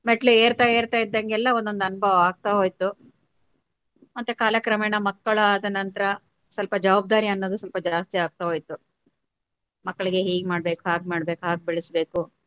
ಮೆಟ್ಟಲು ಏರ್ತಾ ಏರ್ತಾ ಇದ್ದಂಗೆಲ್ಲ ಒಂದೊಂದು ಅನುಭವ ಆಗ್ತಾ ಹೋಯ್ತು ಮತ್ತೆ ಕಾಲಕ್ರಮೇಣ ಮಕ್ಕಳಾದ ನಂತರ ಸ್ವಲ್ಪ ಜವಾಬ್ದಾರಿ ಅನ್ನೋದು ಸ್ವಲ್ಪ ಜಾಸ್ತಿ ಆಗ್ತಾ ಹೋಯ್ತು ಮಕ್ಕಳಿಗೆ ಹೀಗ್ ಮಾಡ್ಬೇಕು ಹಾಗ್ ಮಾಡ್ಬೇಕು ಹಾಗ್ ಬೆಳ್ಸಬೇಕು.